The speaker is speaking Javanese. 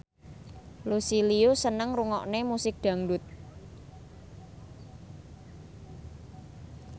Lucy Liu seneng ngrungokne musik dangdut